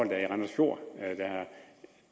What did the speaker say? der er i randers fjord